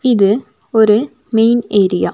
இது ஒரு main area .